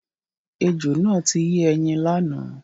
Ejò náà ti yé ẹyin lánàá.